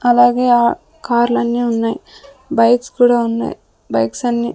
అలాగే ఆ కార్లన్నీ ఉన్నాయి బైక్స్ కూడా ఉన్నాయి బైక్స్ అన్ని --